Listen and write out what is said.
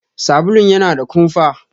Sabulun yana da kumfa.